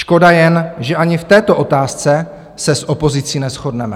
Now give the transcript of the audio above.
Škoda jen, že ani v této otázce se s opozicí neshodneme.